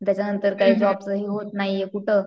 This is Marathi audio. त्याच्या नंतर जॉबचं काही हे होत नाहीये कुठं.